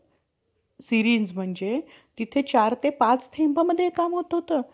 series म्हणजे तिथे चार ते पाच थेंबामध्ये हे काम होत होतं.